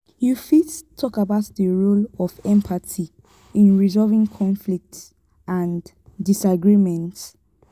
you fit talk about di role of empathy in resolving conflicts and disagreements?